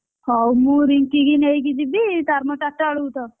ହଉ ମୁଁ ରିଙ୍କି କି ନେଇକି ଯିବି ତାର ମୋର ଚାରିଟା ବେଳକୁ ତ,